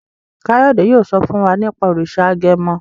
Kayode yóò so fún wá nipa òrìṣà agẹmọ.